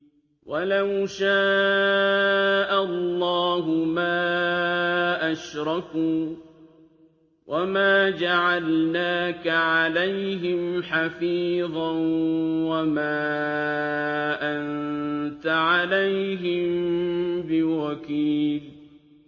وَلَوْ شَاءَ اللَّهُ مَا أَشْرَكُوا ۗ وَمَا جَعَلْنَاكَ عَلَيْهِمْ حَفِيظًا ۖ وَمَا أَنتَ عَلَيْهِم بِوَكِيلٍ